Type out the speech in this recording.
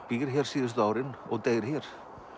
býr hér síðustu árin og deyr hér